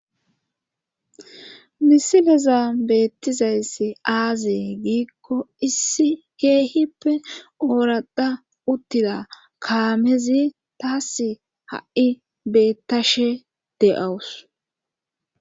misileza beettizayssi aazee giikko issi keehippe ooradha uttida kaamezi taas ha7i beettashe de7awus